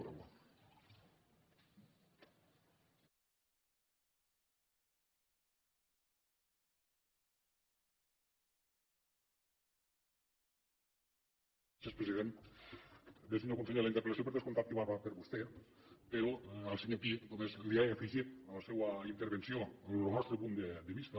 bé senyor conseller la interpel·lació per descomptat que va per a vostè però al senyor pi només li he afegit a la seua intervenció lo nostre punt de vista